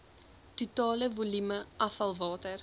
totale volume afvalwater